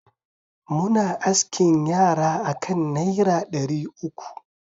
Muna askin yara akan naira dari uku.